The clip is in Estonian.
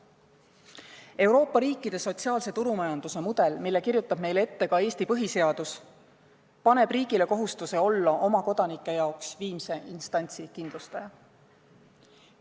Euroopa riikide sotsiaalse turumajanduse mudel, mille kirjutab meile ette ka Eesti põhiseadus, paneb riigile kohustuse olla oma kodanike jaoks viimse instantsi kindlustaja.